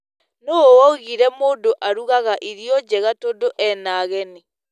Nũũ waugire mũndũ arugaga irio njega tondu ena ageni?